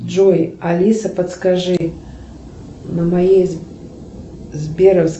джой алиса подскажи на моей сберовской